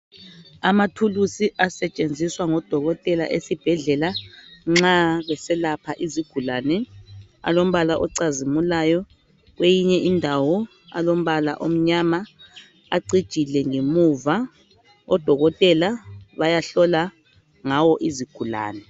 Amathulusi asetshenziswa ngodokotela esibhedlela nxa beselapha izigulane alombala ocazimulayo kweyinye indawo alombala omnyama acijile ngemuva odokotela bayahlola ngwo izigulani.